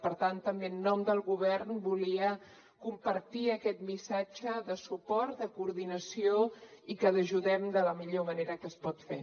per tant també en nom del govern volia compartir aquest missatge de suport de coordinació i que ajudem de la millor manera que es pot fer